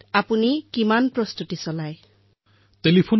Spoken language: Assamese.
তালৈ ফোন কৰি জনতাই নিজৰ বাৰ্তা নিজৰ শব্দত ৰেকৰ্ডো কৰিব পাৰে